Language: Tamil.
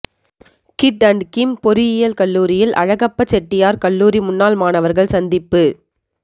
கிட் அண்டு கிம் பொறியியல் கல்லூரியில் அழகப்ப செட்டியார் கல்லூரி முன்னாள் மாணவர்கள் சந்திப்பு